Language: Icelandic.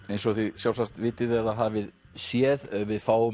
eins og þið sjálfsagt vitið eða hafið séð við fáum